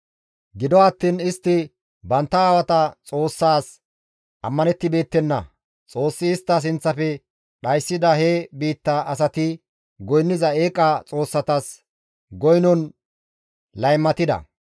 Gido attiin istti bantta aawata Xoossaas ammanettibeettenna; Xoossi istta sinththafe dhayssida he biitta asati goynniza eeqa xoossatas goynon laymatida.